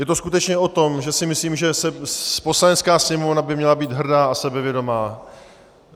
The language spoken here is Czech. Je to skutečně o tom, že si myslím, že Poslanecká sněmovna by měla být hrdá a sebevědomá.